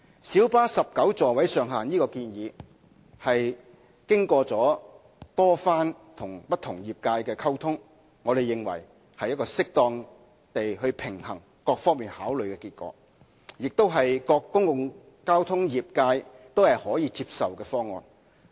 小巴19個座位上限的建議是經過多次與不同業界溝通後，我們認為是一個適當平衡多方考慮的結果，亦是各公共交通業界皆可接受的方案。